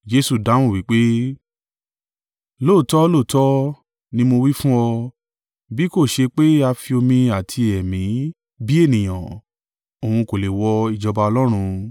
Jesu dáhùn wí pé, “Lóòótọ́ lóòótọ́ ni mo wí fún ọ, bí kò ṣe pé a fi omi àti Ẹ̀mí bí ènìyàn, òun kò lè wọ ìjọba Ọlọ́run.